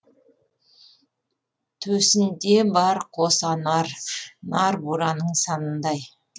төсінде бар қос анар нар бураның санындай